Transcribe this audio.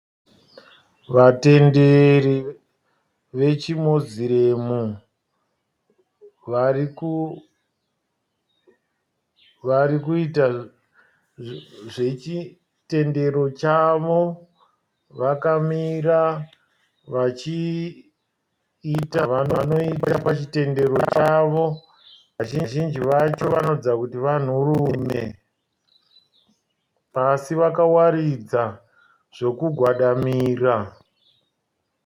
Vatenderi vechimoziremu varikuita zvechitenderi chavo. Vakamira vachiita zvavanoita pachitendero chavo. Vazhinji vacho vanoratidza kuti vanhurume. Pasi vakawaridza zvekugwadamira.